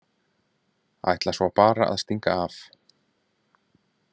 Ætlar svo bara að stinga af!